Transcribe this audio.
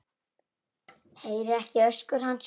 Heyri ekki öskur hans.